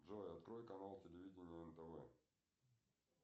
джой открой канал телевидения нтв